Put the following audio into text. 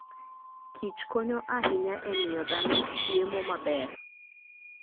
Kich konyo ahinya e miyo dhano chiemo maber.